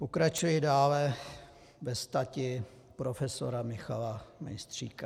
Pokračuji dále ve stati profesora Michala Mejstříka.